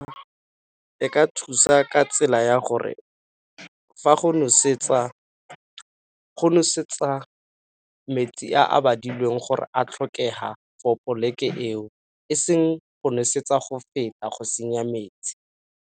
E ka thusa ka tsela ya gore fa go nosetsa, go nosetsa metsi a a badilweng gore a tlhokega for poleke eo e seng go nosetsa go feta go senya metsi.